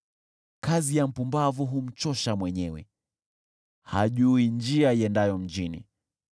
Kazi ya mpumbavu humchosha mwenyewe, hajui njia iendayo mjini.